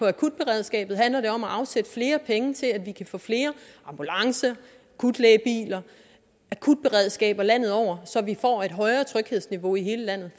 akutberedskabet handler det om at afsætte flere penge til at vi kan få flere ambulancer akutlægebiler akutberedskaber landet over så vi får et højere tryghedsniveau i hele landet